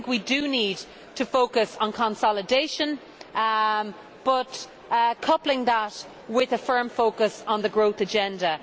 I think we need to focus on consolidation, but coupling that with a firm focus on the growth agenda.